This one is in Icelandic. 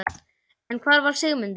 En hvar var Sigmundur?